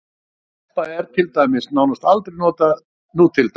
Telpa er til dæmis nánast aldrei notað nútildags.